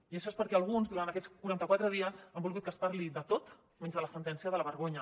i això és perquè alguns durant aquests quaranta quatre dies han volgut que es parli de tot menys de la sentència de la vergonya